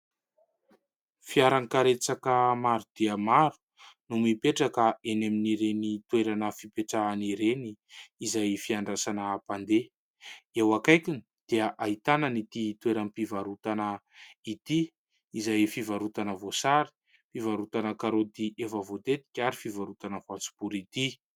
Fiara karetsaka maro dia maro no mipetraka eny amin'ireny toerana fipetrahany ireny, izay fiandrasana mpandeha. Eo akaikiny dia ahitana ity toeram-pivarotana ity izay fivarotana voasary, fivarotana karoty efa voatetika ary fivarotana voanjobory ity.